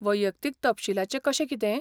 वैयक्तीक तपशीलाचें कशें कितें?